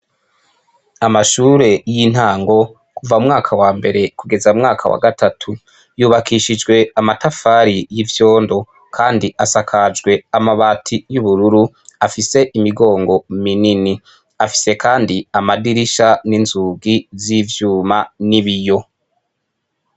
Amashure y'intango kuva mu mwaka wa mbere kugeza mwaka wa gatatu, yubakishijwe amatafari y'ivyondo kandi asakajwe amabati y'ubururu afise imigongo minini afise kandi amadirisha n'inzugi z'ivyuma n'ibiyo.